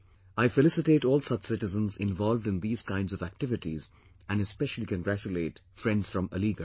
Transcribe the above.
I felicitate all such citizens involved in these kinds of activities and especially congratulate friends from Aligarh